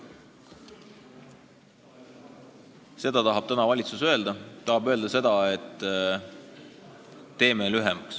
Seda tahab täna valitsus öelda.